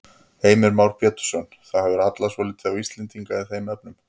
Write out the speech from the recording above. Heimir Már Pétursson: Það hefur hallað svolítið á Íslendinga í þeim efnum?